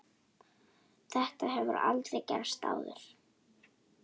Þetta hefur aldrei gerst áður.